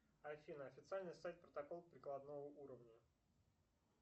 афина официальный сайт протокол прикладного уровня